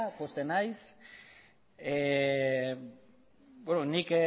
nik